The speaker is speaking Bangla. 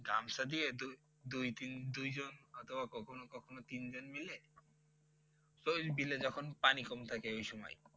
গামছা দিয়ে দুই~দুই তিন দুইজন অথবা কখনো কখনো তিনজন মিলে ওই বিলে যখন পানি কম থাকে এই সময়